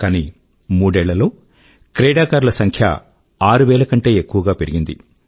కానీ మూడేళ్లల్లో క్రీడాకారుల సంఖ్య ఆరు వేల కంటే ఎక్కువకు పెరిగింది